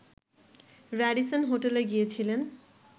Radisson হোটেলে গিয়েছিলেন